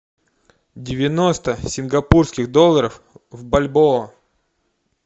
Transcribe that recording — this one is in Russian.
девяносто сингапурских долларов в бальбоа